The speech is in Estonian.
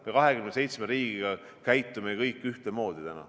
Meie, 27 riiki, käitume kõik ühtemoodi.